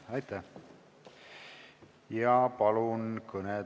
Aitäh!